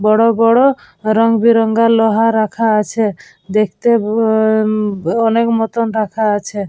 বড় বড় রংবেরঙের লোহার রাখা আছে দেখতে রাখা আছে।